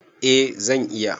Eh zan iya.